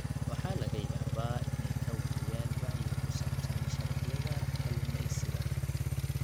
Waxaa laga yaabaa inay ka waayaan wacyiga ku saabsan sharciyada kalluumeysiga.